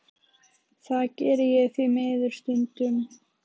Það geri ég því miður stundum.